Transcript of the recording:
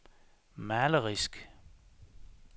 malerisk